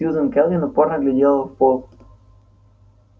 сьюзен кэлвин упорно глядела в пол